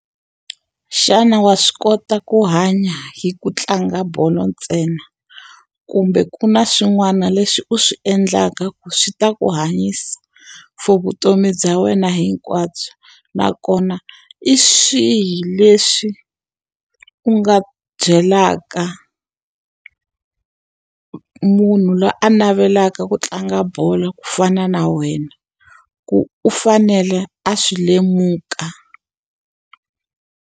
Xana wa swi kota ku hanya hi ku tlanga bolo ntsena? Kumbe ku na swin'wana leswi u swi endlaka ku swi ta ku hanyisa for vutomi bya wena hinkwabyo? Nakona hi swihi leswi u nga byelaka munhu loyi a navelaka ku tlanga bolo ku fana na wena, ku u fanele a swi lemuka?